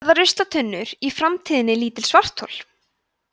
verða ruslatunnur í framtíðinni lítil svarthol